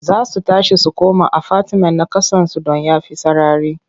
Za su tashi su koma afatimen na ƙasansu don ya fi sarari.